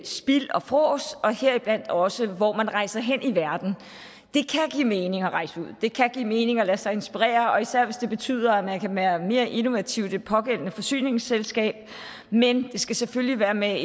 spild og frås heriblandt også i hvor man rejser hen i verden det kan give mening at rejse ud det kan give mening at lade sig inspirere og især hvis det betyder at man kan være mere innovativ i det pågældende forsyningsselskab men det skal selvfølgelig være med